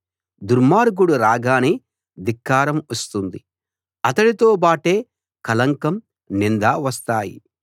దుర్మార్గుడు రాగానే ధిక్కారం వస్తుంది అతడితో బాటే కళంకం నింద వస్తాయి